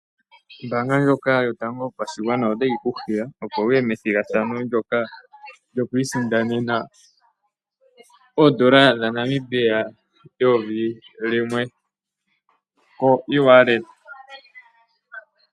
Ombaanga ndjoka yotango yopashigwana otayi kuhiya opo wuye methigathano ndyoka lyokwiisindanena oondola dhaNamibia 1000 limwe koewallets.